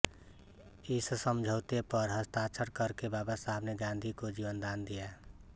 इस समझौते पर हस्ताक्षर करके बाबासाहब ने गांधी को जीवनदान दिया